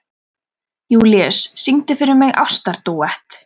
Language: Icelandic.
Júlíus, syngdu fyrir mig „Ástardúett“.